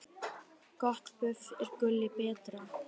Gott buff er gulli betra.